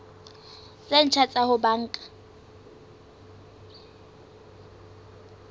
tse ntjha tsa ho banka